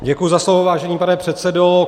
Děkuji za slovo, vážený pane předsedo.